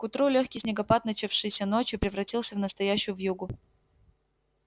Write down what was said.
к утру лёгкий снегопад начавшийся ночью превратился в настоящую вьюгу